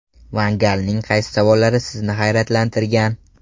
Van Galning qaysi savollari sizni hayratlantirgan?